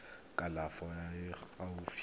kgolo e e fa gaufi